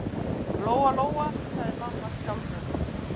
Lóa-Lóa, sagði mamma skjálfrödduð.